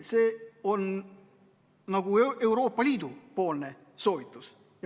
See on nagu Euroopa Liidu soovitus.